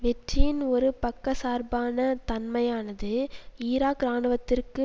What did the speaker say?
வெற்றியின் ஒரு பக்கச்சார்பான தன்மையானது ஈராக் இராணுவத்துக்கு